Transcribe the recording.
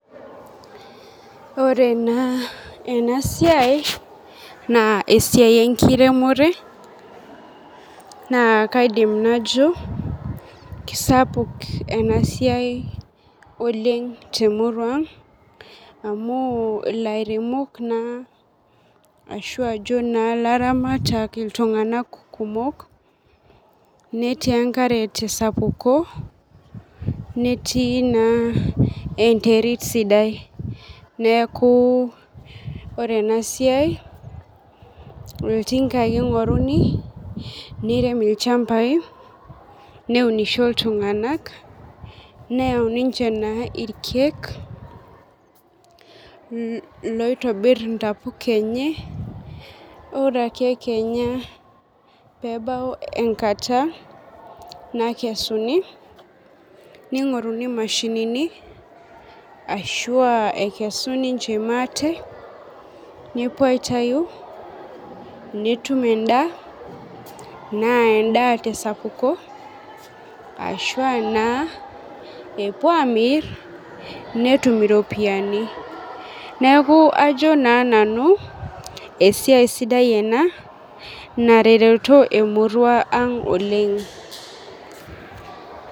Ore na enasiai na esiai enkiremore na kaidim najo keisapuk enasiai oleng temurua aang amu lairemok naa ashu ajo laramatak iltunganak kumok netii enkarebtesapuko netii enterit sidai neakuesiai na oltinga ake ingoruni nirem ilchambai neunisho ltunganak neyau na ninche irkiek loitobir ntapuka enye ore ake kenya pebau enkata nakesuni ningoruni mashinini ashu a nepuoi aitau netum endaa na endaa tesapuko arashu na epuo amir netum iropiyani neaku ajo na nanu esiai sidai ena naret emurua ang' oleng'.